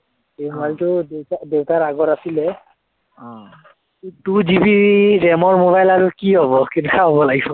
এই mobile টো দেউতাৰ, দেউতাৰ আগৰ আছিলে two GB ram ৰ mobile আৰু কি হব, কেনেকুৱা হব লাগিব